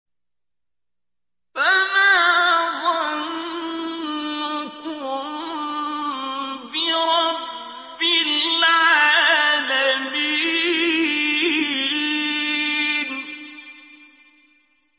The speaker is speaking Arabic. فَمَا ظَنُّكُم بِرَبِّ الْعَالَمِينَ